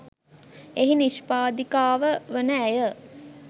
එහි නිෂ්පාදිකාව වන ඇය